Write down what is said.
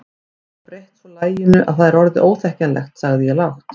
Þú hefur breytt svo laginu að það er orðið óþekkjanlegt sagði ég lágt.